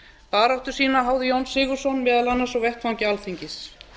baráttu sína háði jón sigurðsson meðal annars á vettvangi alþingis